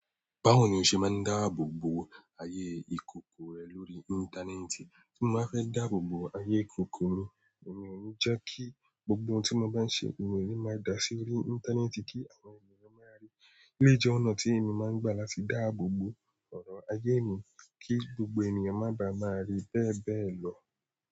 Báwo ni o ṣe máa ń dáàbò bo ayé ìkòkò rẹ lórí íńtánẹ́ẹ̀tì? Tí mo bá fẹ́ dáàbò bo ayé ìkòkò mi, èmi ò ní jẹ́ kí gbogbo ohun tí mo bá ń ṣe, èmi ò ní máa da sí orí íńtánẹ́ẹ̀tì kí àwọn ènìyàn máa rí i. Eléyìí jẹ́ ọ̀nà tí èmi máa ń gbà láti dáàbò bo ọ̀rọ̀ ayé mi kí gbogbo ènìyàn má bàa máa rí i bẹ́ẹ̀ bẹ́ẹ̀ lọ.